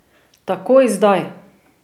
Takoj zdaj!